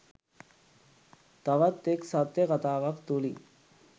තවත් එක් සත්‍ය කතාවක් තුළින්